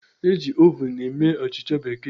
E ji Ovun eme Achicha bekee